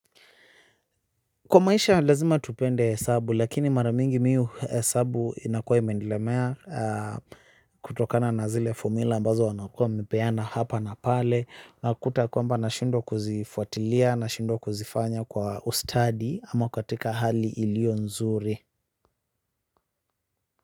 Kwa maisha lazima tupende hesabu lakini mara mingi mimi hesabu inakwa imenilemea kutokana na zile fomula ambazo wanakua wamepeana hapa na pale nakuta kwamba nashindwa kuzifuatilia nashindwa kuzifanya kwa ustadi ama katika hali iliyo nzuri.